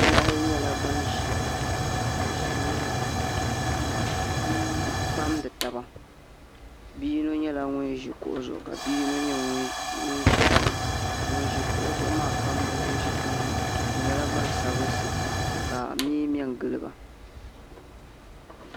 Bihi ayi nyɛla bin ʒiya bi ʒimi n pamdi taba bia yino nyɛla ŋun ʒi kuɣu zuɣu ka bia yino nyɛ ŋun ʒi tiŋa ka ŋun ʒi kuɣu zuɣu maa pamdi ŋun ʒi tiŋ maa ka mee mɛ n giliba